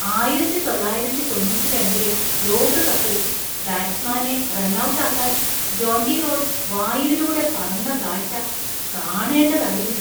ആയിരത്തി തൊള്ളായിരത്തി തൊണ്ണൂറ്റി രണ്ടിലെ ലോകകപ്പിൽ ബാറ്റ്സ്മാനെ റൺഔട്ട് ആക്കാന്‍ ജോണ്ടി റോഡ്സ് വായുവിലൂടെ പറന്ന കാഴ്ച കാണേണ്ടതായിരുന്നു.